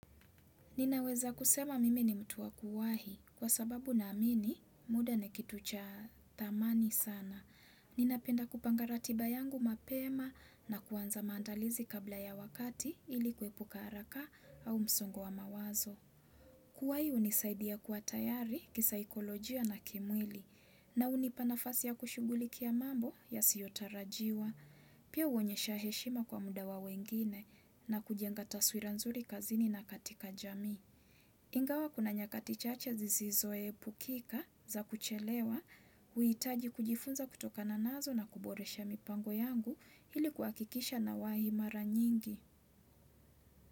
Ninaweza kusema mimi ni mtu wa kuwahi kwa sababu naamini muda ni kitu cha thamani sana. Ninapenda kupanga ratiba yangu mapema na kuanza maandalizi kabla ya wakati ili kuepuka haraka au msongo wa mawazo. Kuwahi hunisaidia kuwa tayari kisaikolojia na kimwili na hunipa nafasi ya kushughulikia mambo yasiyotarajiwa. Pia huonyesha heshima kwa muda wa wengine na kujenga taswira nzuri kazini na katika jamii. Ingawa kuna nyakati chache zisizoepukika za kuchelewa, huhitaji kujifunza kutokana nazo na kuboresha mipango yangu ili kuhakikisha nawahi mara nyingi.